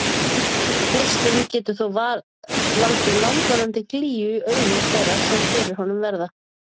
geislinn getur þó valdið langvarandi glýju í augum þeirra sem fyrir honum verða